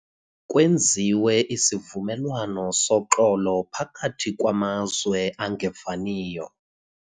Kwenziwe isivumelwano soxolo phakathi kwamazwe angevaniyo.